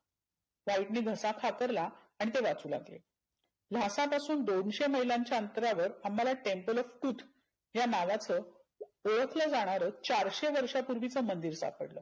व्हाईटने घसा खाकरला आणि ते वाचू लागले. भारतात असून दोनशे मैलांच्या अंतरावर आम्हाला temple of truth या नावाचं ओळखल जाणारं चारशे वर्षापुर्विचं मंदिर सापडल.